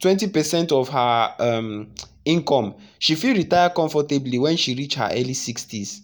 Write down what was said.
20 percent of her um income she fit retire comfortably when she reach her early sixties.